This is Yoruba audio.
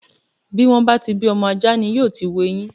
Bí wọ́n bá ti bí ọmọ ajá ni yóò ti hu eyin.